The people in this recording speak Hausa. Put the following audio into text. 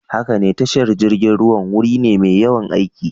Haka ne, tashar jirgin ruwa wuri ne mai yawan aiki.